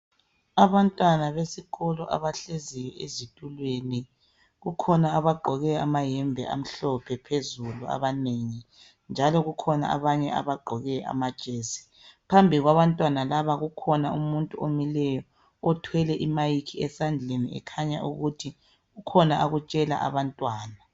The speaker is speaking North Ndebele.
Abantwana besikolo abahlezi ezitulweni kukhona abagqoke amahembe amhlophe phezulu abanengi njalo kukhona abanye abagqoke amajesi , phambi kwabantwana laba kukhona umuntu omileyo othwele I mayikhi esandleni ekhanya ukuthi kukhona akutshela Abantwana